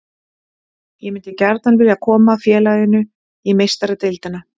Ég myndi gjarnan vilja koma félaginu í Meistaradeildina.